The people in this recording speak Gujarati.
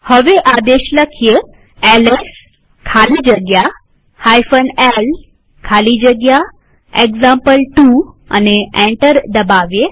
હવે આદેશ એલએસ ખાલી જગ્યા l ખાલી જગ્યા એક્ઝામ્પલ2 લખી એન્ટર દબાવીએ